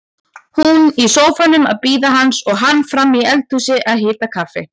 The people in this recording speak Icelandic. Hún í sófanum að bíða hans og hann frammi í eldhúsi að hita kaffi.